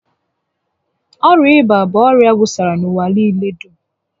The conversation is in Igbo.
Ọrịa ịba bụ ọrịa wusara n'ụwa niile dum